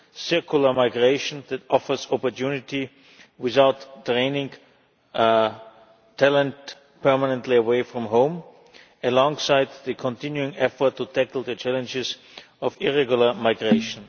circular migration that offers opportunity without draining talent permanently away from home, alongside the continuing efforts to tackle the challenges of irregular migration.